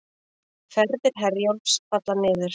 Ferðir Herjólfs falla niður